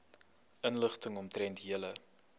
inligting omtrent julle